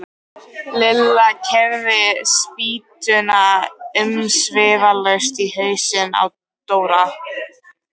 Lilla keyrði spýtuna umsvifalaust í hausinn á Dóra.